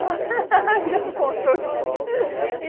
Ah, você contou!